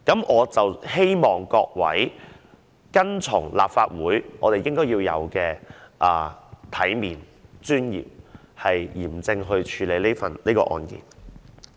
我希望各位按照立法會一貫的行事方式，要有體面地、有尊嚴地、嚴正地處理這事件。